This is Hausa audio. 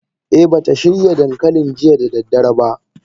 Eh bata shirya dankalin jiya da daddare ba.